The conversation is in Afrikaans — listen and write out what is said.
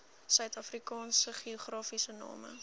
suidafrikaanse geografiese name